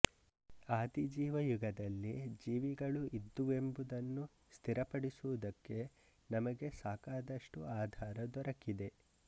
ಆದಿಜೀವಯುಗದಲ್ಲಿ ಜೀವಿಗಳು ಇದ್ದುವೆಂಬುದನ್ನು ಸ್ಥಿರಪಡಿಸುವುದಕ್ಕೆ ನಮಗೆ ಸಾಕಾದಷ್ಟು ಆಧಾರ ದೊರಕಿದೆ